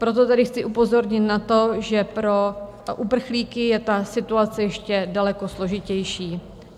Proto tedy chci upozornit na to, že pro uprchlíky je ta situace ještě daleko složitější.